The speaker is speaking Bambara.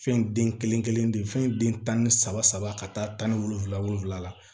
Fɛn den kelen-kelen de fe den tan ni saba saba ka taa tan ni wolonwula wolonwula la